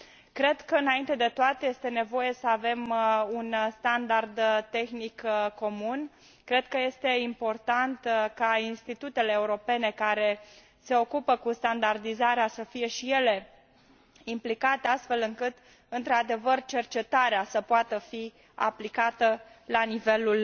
Cred că, înainte de toate, este nevoie să avem un standard tehnic comun, cred că este important ca institutele europene care se ocupă cu standardizarea să fie și ele implicate, astfel încât într adevăr cercetarea să poată fi aplicată la nivelul